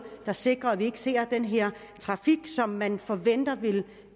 der sikrer at vi ikke ser den her trafik som man forventer